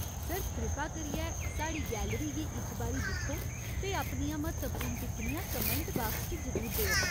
Sir, कृपा करियै, साढ़ी गैलरी गी इक बारी दिक्खो ते अपनियां म्हत्तवपूर्ण टिप्पणियाँ कमैंट बाक्स च जरूर देओ।